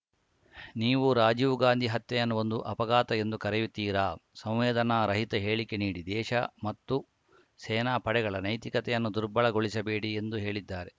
ನೀವು ರಾಜೀವ್‌ ಗಾಂಧಿ ಹತ್ಯೆಯನ್ನು ಒಂದು ಅಪಘಾತ ಎಂದು ಕರೆಯುತ್ತೀರಾ ಸಂವೇದನಾ ರಹಿತ ಹೇಳಿಕೆ ನೀಡಿ ದೇಶ ಮತ್ತು ಸೇನಾ ಪಡೆಗಳ ನೈತಿಕತೆಯನ್ನು ದುರ್ಬಲ ಗೊಳಿಸಬೇಡಿ ಎಂದು ಹೇಳಿದ್ದಾರೆ